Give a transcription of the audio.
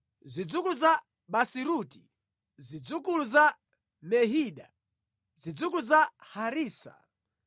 zidzukulu za Baziruti, zidzukulu za Mehida, zidzukulu za Harisa,